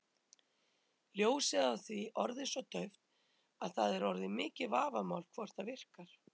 Ljósið á því orðið svo dauft að það er orðið mikið vafamál hvort það virkar.